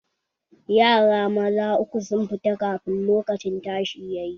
Yaran maza uku sun fita kafin lokacin tashi yayi